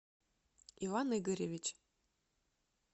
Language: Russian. иван игоревич